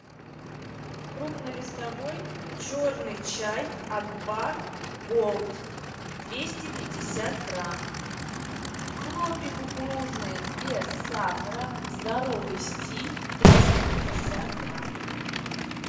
крупнолистовой черный чай акбар голд двести пятьдесят грамм хлопья кукурузные без сахара здоровый стиль триста пятьдесят грамм